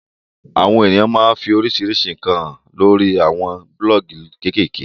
Awon eniyan maa fi orisirisi nkan han lori awon buloogi kekeeke